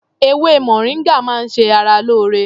Ewé moringa máa ń ṣe ara lóore